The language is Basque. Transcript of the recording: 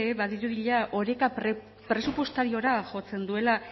badirudi oreka presupuestariora jotzen duela